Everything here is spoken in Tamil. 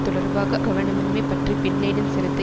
தொடர்பாக கவனமின்மை பற்றி பின் லேடன் சிரத்தை